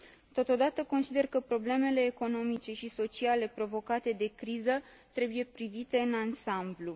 Totodată, consider că problemele economice și sociale provocate de criză trebuie privite în ansamblu.